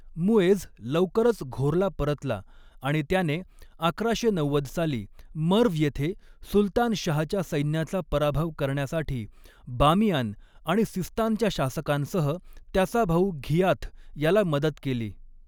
मुएझ लवकरच घोरला परतला आणि त्याने, अकराशे नव्वद साली मर्व्ह येथे सुलतान शाहच्या सैन्याचा पराभव करण्यासाठी बामियान आणि सिस्तानच्या शासकांसह, त्याचा भाऊ घियाथ याला मदत केली.